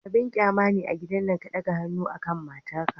Abin qyama ne a gidan nan ka ɗaga hannu akan matar ka.